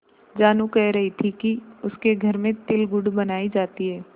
जानू कह रही थी कि उसके घर में तिलगुड़ बनायी जाती है